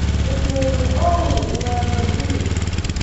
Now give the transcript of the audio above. Ileen Owour wa baadhiri.